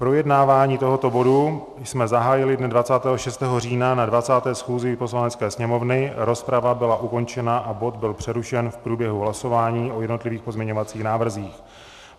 Projednávání tohoto bodu jsme zahájili dne 26. října na 20. schůzi Poslanecké sněmovny, rozprava byla ukončena a bod byl přerušen v průběhu hlasování o jednotlivých pozměňovacích návrzích.